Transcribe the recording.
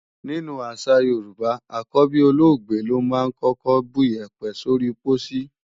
Nínú àṣà Yorùbá, àkọ́bí olóògbé lọ́ máa ń kọ́kọ́ buyẹ̀pẹ̀ sóri pósí.